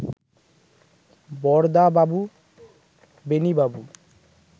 বরদাবাবু বেণীবাবু